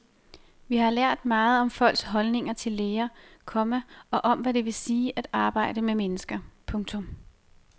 Vi har lært meget om folks holdninger til læger, komma og om hvad det vil sige at arbejde med mennesker. punktum